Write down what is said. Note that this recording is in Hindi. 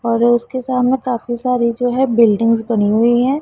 और उसके सामने काफी सारी जो है बिल्डिंग्स बनी हुई है।